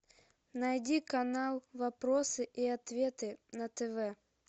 найди канал вопросы и ответы на тв